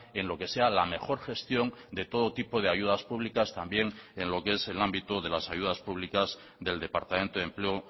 en lo que sea la mejor gestión de todo tipo de ayudas públicas también en lo que es el ámbito de las ayudas públicas del departamento de empleo